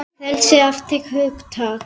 Frelsi er afstætt hugtak